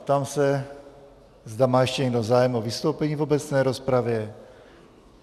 Ptám se, zda má ještě někdo zájem o vystoupení v obecné rozpravě.